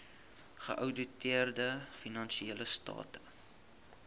geouditeerde finansiële state